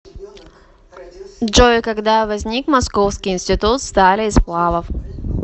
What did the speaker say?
джой когда возник московский институт стали и сплавов